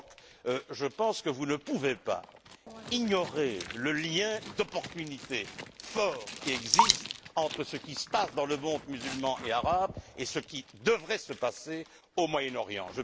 Brok je pense que vous ne pouvez pas ignorer le lien d'opportunité fort qui existe entre ce qui se passe dans le monde musulman et arabe et ce qui devrait se passer au Moyen Orient.